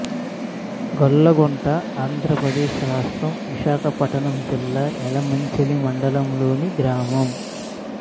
గొల్లగుంట ఆంధ్ర ప్రదేశ్ రాష్ట్రం విశాఖపట్నం జిల్లా యలమంచిలి మండలం లోని గ్రామం